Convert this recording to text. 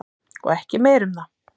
Og ekki meira um það.